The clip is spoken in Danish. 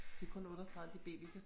Det kun 38 dB vi kan